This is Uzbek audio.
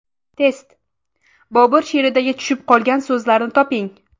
Test: Bobur she’rlaridagi tushib qolgan so‘zlarni toping.